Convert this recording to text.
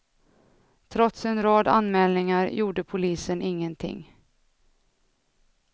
Trots en rad anmälningar gjorde polisen ingenting.